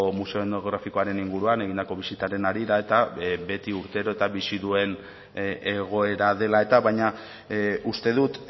museo etnografikoaren inguruan egindako bisitaren harira eta beti urtero eta bizi duen egoera dela eta baina uste dut